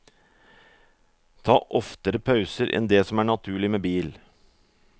Ta oftere pauser enn det som er naturlig med bil.